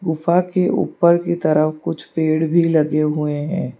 गुफा के ऊपर की तरफ कुछ पेड़ भीं लगे हुए हैं।